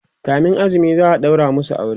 kamin azumi za'a ɗaura masu aure